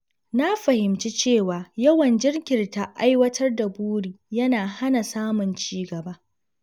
Na fahimci cewa yawan jinkirta aiwatar da buri yana hana samun ci gaba.